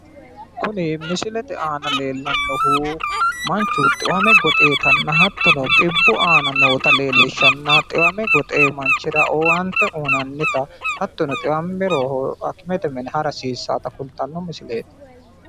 Kuni misilete aana leellannohu manchu xiwame goxxewota hattono xibbu aana nootta leellishannanna, xiwame goxewo manchira owaante uynaayta hattono xiwammiro hakimete minira hara hasiissata kultanno misileeti.